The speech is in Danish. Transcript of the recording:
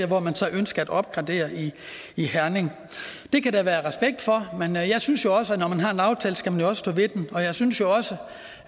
hvor man så ønsker at opgradere i i herning det kan der være respekt for men jeg synes jo også at når man har en aftale skal man stå ved den og jeg synes også